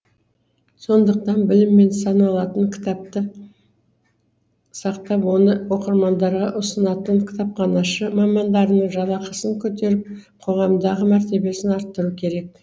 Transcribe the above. сондықтан білім мен саналатын кітапты сақтап оны оқырмандарға ұсынатын кітапханашы мамандарының жалақысын көтеріп қоғамдағы мәртебесін арттыру керек